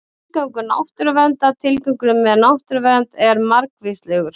Tilgangur náttúruverndar Tilgangurinn með náttúruvernd er margvíslegur.